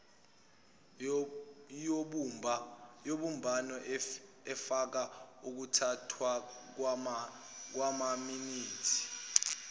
yobumbano efaka ukuthathwakwamaminithi